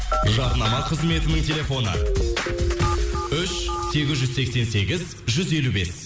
жарнама қызметінің телефоны үш сегіз жүз сексен сегіз жүз елу бес